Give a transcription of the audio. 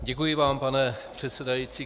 Děkuji vám, pane předsedající.